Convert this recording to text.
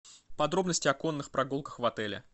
подробности о конных прогулках в отеле